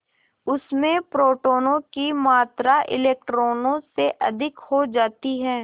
उसमें प्रोटोनों की मात्रा इलेक्ट्रॉनों से अधिक हो जाती है